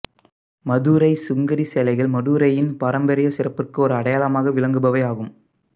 மதுரை சுங்குடி சேலைகள் மதுரையின் பாரம்பரியச் சிறப்பிற்கு ஓர் அடையாளமாக விளங்குபவை ஆகும்